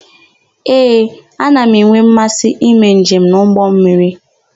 Ee, ana m enwe mmasị ime njem n'ụgbọmmiri.